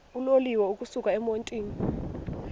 uloliwe ukusuk emontini